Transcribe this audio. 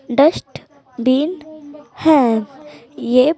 dust bin है ये--